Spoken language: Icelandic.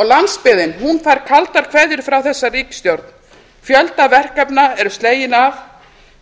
og landsbyggðin hún fær kaldar kveðjur frá þessari ríkisstjórn fjöldi verkefna eru slegin af